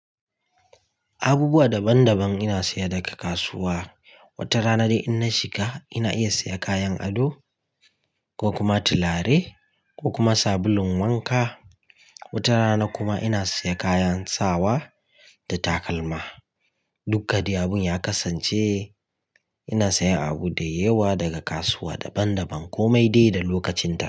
Abubuwa daban daban ina saya daga kasuwa. Wata rana dai in na shiga ina iya siya kayan ado ko kuma tilare ko kuma sabulun wanka. Wata rana kuma ina saya kayan sawa da takalma. Dukka dai abun ya kasance ina sayan abu da yawa daga kasuwa daban daban ko mai dai da lokacin ta.